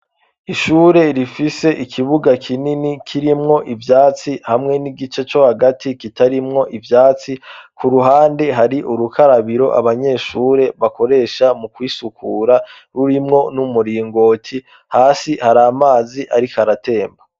Ishure rifise ikibuga kinini kirimwo ivyatsi hamwe n'igice co hagati kitarimwo ivyatsi, ku ruhande hari urukarabiro abanyeshure bakoresha mu kwisukura rurimwo n'umuringoti, hasi hari amazi ariko aratemba.